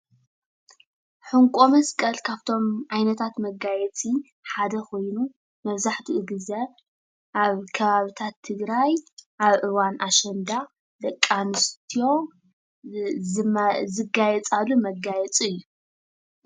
ሕንቆ መስቀል ካፍቶም ዓይነታት መጋየፂ ሓደ ኾይኑ መዛሕትኡ ግዘ አብ ከባብታት ትግራይ አብ እዋን አሸንዳ ደቂ አንስትዮ ዝ ዝመ ዝጋየፃሉ መጋየፂ እዩ።